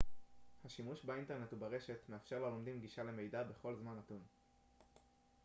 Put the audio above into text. השימוש באינטרנט וברשת מאפשר ללומדים גישה למידע בכל זמן נתון